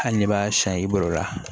Hali n'i b'a siyan i bolo la